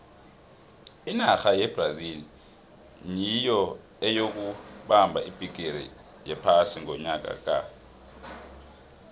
inarha yebrazil nyiyo eyokubamba ibhigiri yephasi ngonyaka ka